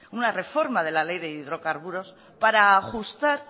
una reforma de la ley de hidrocarburos para ajustar